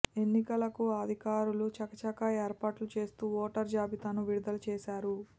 ఎన్నికలకు అధికారులు చకచకా ఏర్పాట్లు చేస్తూ ఓటర్ జాబితాను విడుదల చేశారు